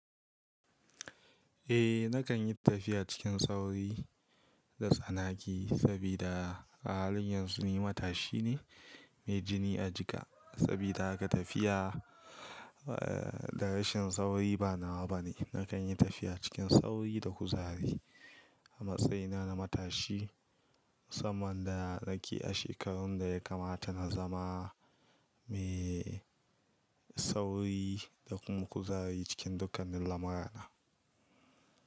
Eh nakan yi tafiya cikin sauri da tsanaki saboda halin yanzu ni matashi ne mai jini a jika. Saboda haka tafiya da rashin sauri ba nawa bane. Nakan yi tafiya cikin sauri da kuzari a matsayina na matashi. Saman da nake a shekarun da ya kamata na zama mai sauri da kuma kuzari cikin dukkanin lamurana.